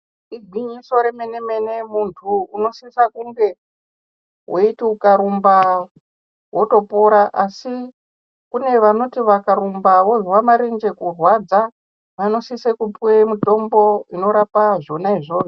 Igwinyido remene mene muntu unosisa kunge weiti ukarumba wotopora asi kune vanoti vakarumba vozwa marenje kurwadza vanosise kupuwe mutombo unorapa zvona izvozvo.